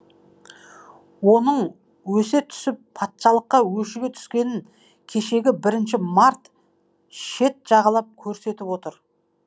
оның өсе түсіп патшалыққа өшіге түскенін кешегі бірінші март шет жағалап көрсетіп отыр